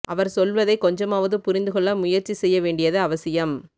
அவர் சொல்வதை கொஞ்சமாவது புரிந்து கொள்ள முயற்ச்சி செய்ய வேண்டியது அவசியம்